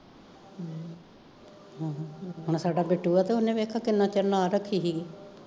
ਹੁਣ ਸਾਡਾ ਬਿੱਟੂ ਆ ਤੇ ਓਨੇ ਵੇਖੋ ਕਿੰਨਾ ਚਿਰ ਨਾਲ ਰੱਖੀ ਹੀ ਗੀ